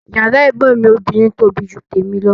Yàrá ẹ̀gbọ́n mi obìnrin tóbi ju tèmi lọ